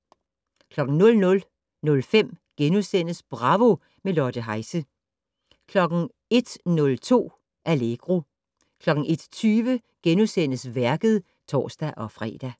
00:05: Bravo - med Lotte Heise * 01:02: Allegro 01:20: Værket *(tor-fre)